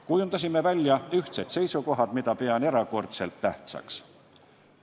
Kujundasime välja ühtsed seisukohad, mida pean erakordselt tähtsaks.